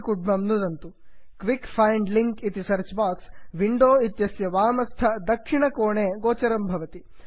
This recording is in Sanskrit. quick find link quick find link इति सर्च् बाक्स् विण्डो इत्यस्य वामस्थ उपरितनकोणे गोचरं भवति